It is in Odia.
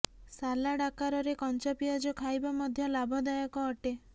ସାଲାଡ ଆକାରରେ କଞ୍ଚା ପିଆଜ ଖାଇବା ମଧ୍ୟ ଲାଭଦାୟକ ଅଟେ